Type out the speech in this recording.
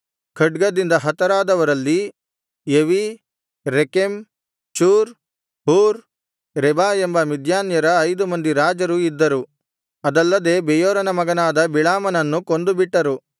ಖಡ್ಗದಿಂದ ಹತರಾದವರಲ್ಲಿ Evi Rekem Zur Hur Reba ಎಂಬ ಮಿದ್ಯಾನ್ಯರ ಐದು ಮಂದಿ ರಾಜರು ಇದ್ದರು ಅದಲ್ಲದೆ ಬೆಯೋರನ ಮಗನಾದ ಬಿಳಾಮನನ್ನು ಕೊಂದುಬಿಟ್ಟರು